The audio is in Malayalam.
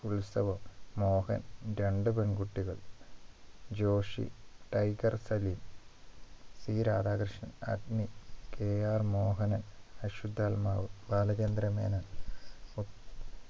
ഉത്സവം മോഹൻ രണ്ടു പെൺകുട്ടികൾ Joshi tiger Salim P Radhakrishnan Agni KR Mohanan അശ്വതാത്മാവ് ബാലചന്ദ്രമേനോൻ